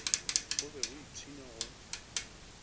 go be go ipshinwa go